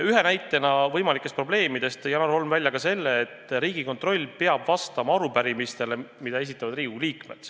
Ühe näitena võimalikest probleemidest tõi Janar Holm välja selle, et Riigikontroll peab vastama arupärimistele, mida esitavad Riigikogu liikmed.